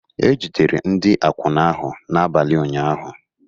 E jidere ndị akwụna ahụ n'abalị ụnyahụ